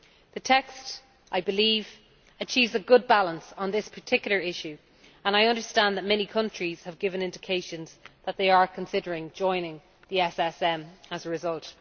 The text, I believe, achieves a good balance on this particular issue, and I understand that many countries have given indications that they are considering joining the SSM as a result.